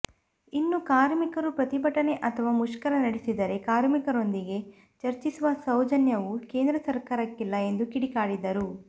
ಇನ್ನು ಕಾರ್ಮಿಕರು ಪ್ರತಿಭಟನೆ ಅಥವಾ ಮುಷ್ಕರ ನಡೆಸಿದರೆ ಕಾರ್ಮಿಕರೊಂದಿಗೆ ಚರ್ಚಿಸುವ ಸೌಜನ್ಯವೂ ಕೇಂದ್ರ ಸರ್ಕಾರಕ್ಕಿಲ್ಲ ಎಂದು ಕಿಡಿಕಾರಿದರು